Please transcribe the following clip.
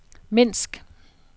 Minsk